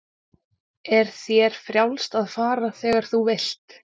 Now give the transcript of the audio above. Er þér frjálst að fara þegar þú vilt?